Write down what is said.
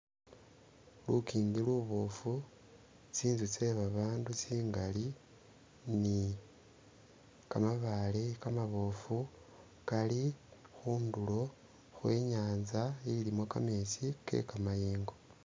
Lukingi luboofu, tsinzu tse babandu bakali ni kamabaale kamaboofu kali khundulo khwe inyanza ilimo kametsi ke kamayengo.